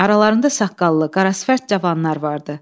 Aralarında saqqallı, qarasifət cavanlar vardı.